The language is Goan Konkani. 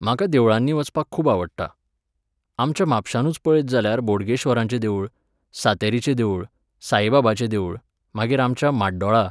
म्हाका देवळांनी वचपाक खूब आवडटा. आमच्या म्हापशानूच पळयत जाल्यार बोडगेश्वराचें देवूळ, सांतेरीचें देवूळ, साईबाबाचें देवूळ, मागीर आमच्या म्हाड्डोळा